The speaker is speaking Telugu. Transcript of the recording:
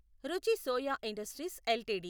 రుచి సోయా ఇండస్ట్రీస్ ఎల్టీడీ